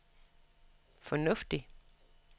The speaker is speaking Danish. fornuftigt